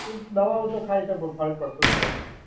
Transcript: એ દવાઓ તો ખાય છે પર ફર્ક પડતો છે નહીં.